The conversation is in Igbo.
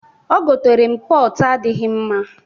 O goteere m pọtụ n'adịghị mma.